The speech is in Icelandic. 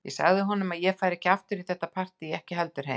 Ég sagði honum að ég færi ekki aftur í þetta partí og ekki heldur heim.